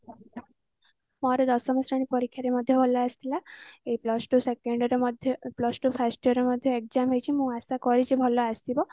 ମୋର ଦଶମ ଶ୍ରେଣୀ ପରୀକ୍ଷା ରେ ବହୁତ ହି ଭଲ ଆସିଥିଲା ଏଇ plus two first year ରେ ମଧ୍ୟ exam ହେଇଛି ମୁଁ ଆଶା କରୁଛି ଭଲ ଆସିବ